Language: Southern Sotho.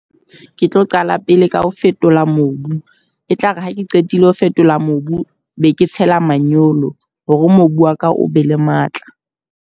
Ke tlo qala pele ka ho fetola mobu, e tlare ha ke qetile ho fetola mobu. Be ke tshela manyolo, hore mobu wa ka o be le matla.